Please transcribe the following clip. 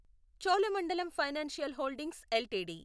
Cholamandalam financial holdings LTD